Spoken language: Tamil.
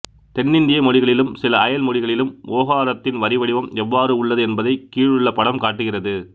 தென்னிந்திய மொழிகளிலும் சில அயல் மொழிகளிலும் ஓகாரத்தின் வரிவடிவம் எவ்வாறு உள்ளது என்பதைக் கீழுள்ள படம் காட்டுகிறது